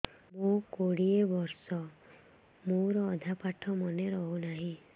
ମୋ କୋଡ଼ିଏ ବର୍ଷ ମୋର ଅଧା ପାଠ ମନେ ରହୁନାହିଁ